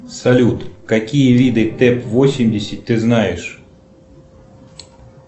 салют какие виды тэп восемьдесят ты знаешь